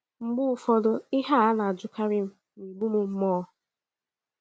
Mgbe ụfọdụ, ihe a a na - ajụkarị m na - egbu m mmụọ.